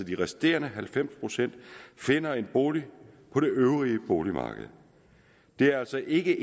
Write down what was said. de resterende halvfems procent finder en bolig på det øvrige boligmarked der er altså ikke